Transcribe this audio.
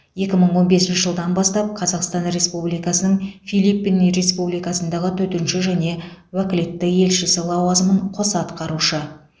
екі мың он бесінші жылдан бастап қазақстан республикасының филиппины республикасындағы төтенше және өкілетті елшісі лауазымын қоса атқарушы